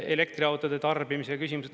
Elektriautode tarbimise küsimused.